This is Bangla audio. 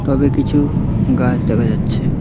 টবে কিছু গাছ দেখা যাচ্ছে।